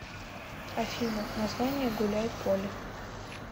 афина название гуляйполе